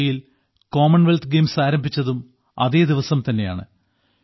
U കെയിൽ Commonwealth Games ആരംഭിച്ചതും അതേദിവസം തന്നെയാണ്